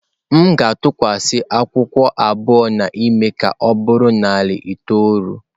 M ga-atụkwasị akwụkwọ abụọ na-eme ka ọ bụrụ narị itoolu.